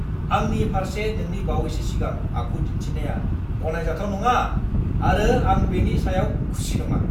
आंनि फारसे नोंनि बावैसोनि सिगां आखु दिन्थिनाया गनायजाथाव नङा आरो आं बेनि सायाव खुसि नङा।